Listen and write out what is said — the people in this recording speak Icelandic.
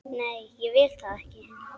Nei, ég vil það ekki.